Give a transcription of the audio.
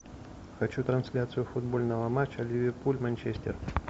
хочу трансляцию футбольного матча ливерпуль манчестер